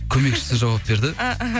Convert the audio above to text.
көмекішісі жауап берді і іхі